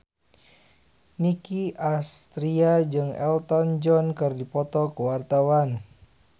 Nicky Astria jeung Elton John keur dipoto ku wartawan